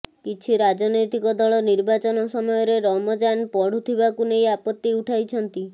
କିଛି ରାଜନୈତିକ ଦଳ ନିର୍ବାଚନ ସମୟରେ ରମଜାନ ପଡୁଥିବାକୁ ନେଇ ଆପତ୍ତି ଉଠାଇଛନ୍ତି